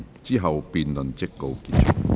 之後辯論即告結束。